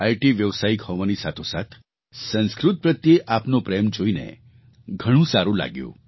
IT વ્યાવસયિક હોવાની સાથોસાથ સંસ્કૃત પ્રત્યે આપનો પ્રેમ જોઈને ઘણું સારું લાગ્યું